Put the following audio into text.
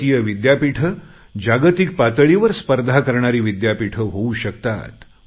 भारतीय विद्यापीठे जागतिक पातळीवर स्पर्धा करणारी विद्यापीठे होऊ शकतात